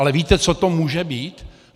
Ale víte, co to může být?